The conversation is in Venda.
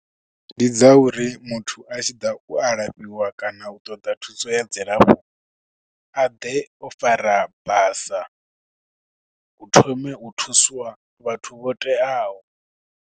Ndi dza uri muthu a tshi ḓa u alafhiwa kana u ṱoḓa thuso ya dzilafho a ḓe o fara basa u thome u thusiwa vhathu vho teaho.